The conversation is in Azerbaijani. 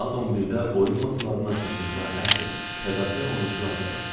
Saat 10-da oyun masalarının arxasında əsl fədakar oyunçular qalır.